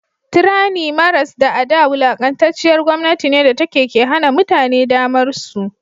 tranny maras da a da wulakantacciyar gomnati ne datake ke Hana mutane damarsu